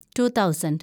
two thousand